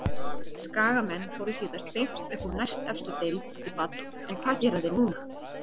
Skagamenn fóru síðast beint upp úr næstefstu deild eftir fall en hvað gera þeir núna?